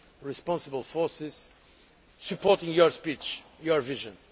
responsible forces supporting your speech and your vision.